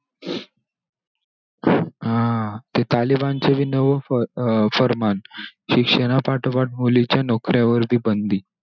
अं ते तालिबान चे पण न नवं फ अं फर्मान शिक्षणापाठोपाठ मुलींच्या नोकऱ्यांवर हि बंदी.